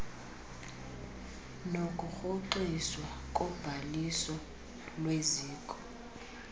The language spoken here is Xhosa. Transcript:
nokurhoxiswa kobhaliso lweziko